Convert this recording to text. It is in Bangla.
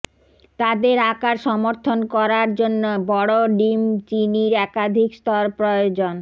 তাদের আকার সমর্থন করার জন্য বড় ডিম চিনির একাধিক স্তর প্রয়োজন